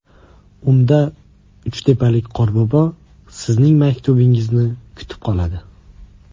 Unda uchtepalik qorbobo sizning maktubingizni kutib qoladi.